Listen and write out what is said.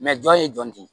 jɔn ye jɔn tɛ